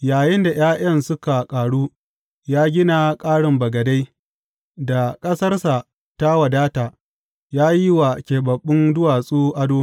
Yayinda ’ya’yan suka ƙaru, ya gina ƙarin bagadai; da ƙasarsa ta wadata, ya yi wa keɓaɓɓun duwatsu ado.